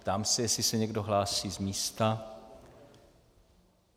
Ptám se, jestli se někdo hlásí z místa.